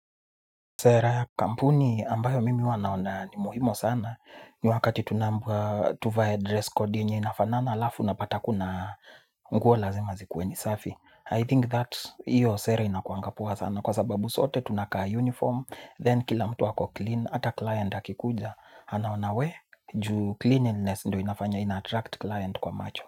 Sera ya kampuni ambayo mimi huwanaona ni muhimo sana. Ni wakati tuvae dress code yenye inafanana alafu na pata kuna nguo lazima zikuwe ni safi. I think that iyo sera inakuanga poa sana. Kwa sababu sote tunakaa uniform, then kila mtu wako clean, ata client hakikuja. Anaona we, juu cleanliness ndo inafanya, ina-attract client kwa macho.